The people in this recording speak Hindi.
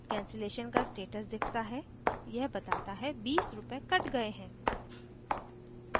cancellation का status दिखता है यह बताता है 20 रूपए it गए हैं